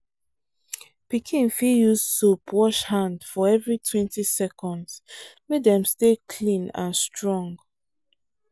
pikin fit use soap wash hand for everitwentyseconds make dem stay clean and strong.